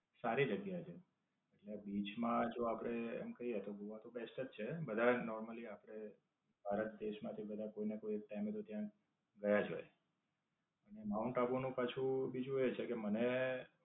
સારી જગ્યા છે. હવે બીચ માં આપડે એમ કહીયે તો ગોવા તો બેસ્ટ જ છે બધા જ normally આપડે ભારત દેશ માંથી બધા કોઈ ના કોઈ ક્યાંય નઈ તો ત્યાં ગયા જ હોય. માઉન્ટ આબુ નું પાછું બીજું એ છે કે, મને